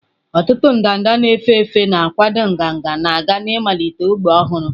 Ọtụtụ ndanda na-efe efe na-akwaga ndanda na-aga ịmalite ógbè ọhụrụ.